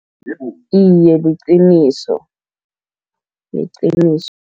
Iye, liqiniso, liqiniso.